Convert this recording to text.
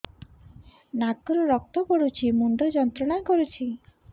ନାକ ରୁ ରକ୍ତ ପଡ଼ୁଛି ମୁଣ୍ଡ ଯନ୍ତ୍ରଣା କରୁଛି